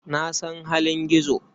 Na san halin Gizo.